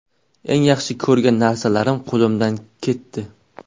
Eng yaxshi ko‘rgan narsalarim qo‘limdan ketdi.